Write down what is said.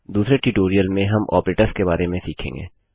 दूसरे ट्यूटोरियल में हम ऑपरेटर्स के बारे में सीखेंगे